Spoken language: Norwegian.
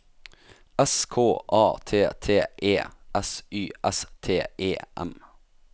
S K A T T E S Y S T E M